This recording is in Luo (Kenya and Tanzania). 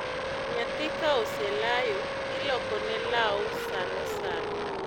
Nyathi ka oselayo, iloko ne law sanosano